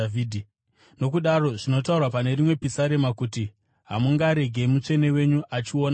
Nokudaro zvinotaurwa pane rimwe pisarema kuti: “ ‘Hamungaregi Mutsvene wenyu achiona kuora.’